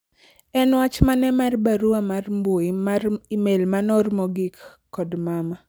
en wach mane mar barua mar mbui mar email manoor mogik kod mama